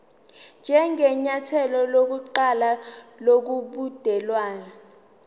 njengenyathelo lokuqala lobudelwane